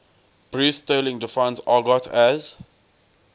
bruce sterling defines argot as